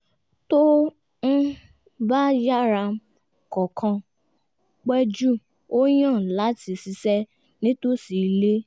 tó um bá yára kọ̀ọ̀kan pẹ̀ jù ó yàn láti ṣiṣẹ́ nítòsí ilé